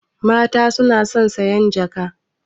Mata na son sayan jaka